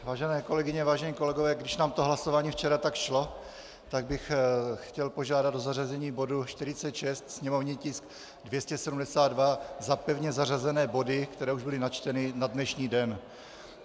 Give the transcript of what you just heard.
Vážené kolegyně, vážení kolegové, když nám to hlasování včera tak šlo, tak bych chtěl požádat o zařazení bodu 46, sněmovní tisk 272, za pevně zařazené body, které už byly načteny na dnešní den.